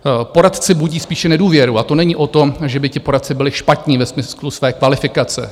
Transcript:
Poradci budí spíše nedůvěru, a to není o tom, že by ti poradci byli špatní ve smyslu své kvalifikace.